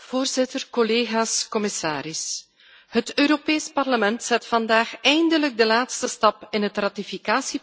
Het Europees Parlement zet vandaag eindelijk de laatste stap in het ratificatieproces van het verdrag van Marrakesh.